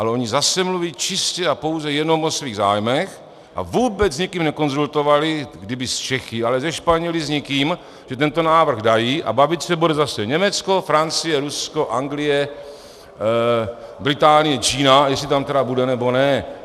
Ale oni zase mluví čistě a pouze jenom o svých zájmech a vůbec s nikým nekonzultovali, kdyby s Čechy, ale se Španěly, s nikým, že tento návrh dají, a bavit se bude zase Německo, Francie, Rusko, Anglie, Británie, Čína, jestli tam tedy bude, nebo ne.